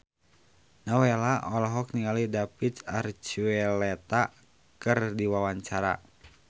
Nowela olohok ningali David Archuletta keur diwawancara